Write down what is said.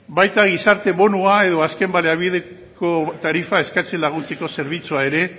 baita gizarte bonoa edo azken baliabideko tarifa eskatzen laguntzeko zerbitzua ere